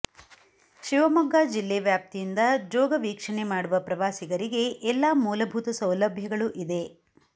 ಶಿವಮೊಗ್ಗ ಜಿಲ್ಲಾ ವ್ಯಾಪ್ತಿಯಿಂದ ಜೋಗ ವೀಕ್ಷಣೆ ಮಾಡುವ ಪ್ರವಾಸಿಗರಿಗೆ ಎಲ್ಲ ಮೂಲಭೂತ ಸೌಲಭ್ಯಗಳು ಇದೆ